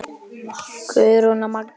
Guðrún og Magnús Reynir.